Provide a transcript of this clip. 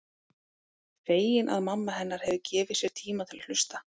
Fegin að mamma hennar hefur gefið sér tíma til að hlusta.